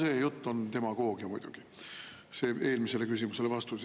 No see jutt on demagoogia muidugi, see vastus eelmisele küsimusele.